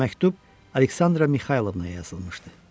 Məktub Aleksandra Mixaylovnaya yazılmışdı.